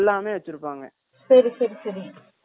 veg யும் கொண்டு வந்து தருவாங்க non veg கொண்டு வந்து தருவாங்க